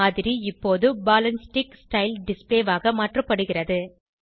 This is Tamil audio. மாதிரி இப்போது ball and stick style display ஆக மாற்றப்படுகிறது